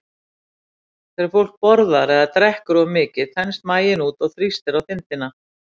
Þegar fólk borðar eða drekkur of mikið þenst maginn út og þrýstir á þindina.